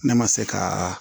Ne ma se ka